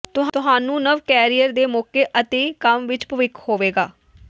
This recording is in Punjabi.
ਤੁਹਾਨੂੰ ਨਵ ਕੈਰੀਅਰ ਦੇ ਮੌਕੇ ਅਤੇ ਕੰਮ ਵਿਚ ਭਵਿੱਖ ਹੋਵੇਗਾ